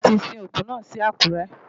Bẹ́ẹ̀ni, a ti sin òkú náà sí Àkúrẹ́.